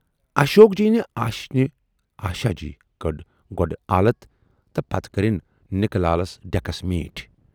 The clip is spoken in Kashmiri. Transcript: اشوک جی نہِ آشینہِ آشاؔجی کٔڈ گۅڈٕ آلت تہٕ پَتہٕ کرٕنۍ نِکہٕ لالَس ڈٮ۪کس میٖٹھۍ۔